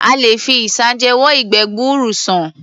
A lè fi isanje wo ìgbẹ́ gbuuru sàn.